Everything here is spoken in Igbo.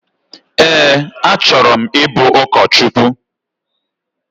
Ee, achọrọ m ibu ụkọchukwu